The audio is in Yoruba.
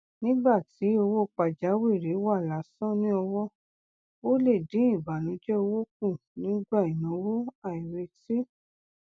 nígbà tí owó pajawìrì wà lásán ní ọwọ ó lè dín ìbànújẹ owó kù nígbà ináwó àìretí